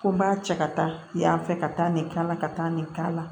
Ko n b'a cɛ ka taa yan fɛ ka taa nin k'a la ka taa nin k'a la